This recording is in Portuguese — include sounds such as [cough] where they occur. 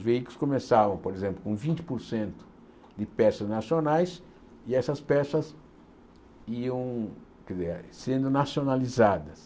Os veículos começavam, por exemplo, com vinte por cento de peças nacionais e essas peças iam [unintelligible] sendo nacionalizadas.